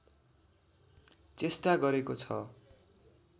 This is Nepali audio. चेष्टा गरेको छ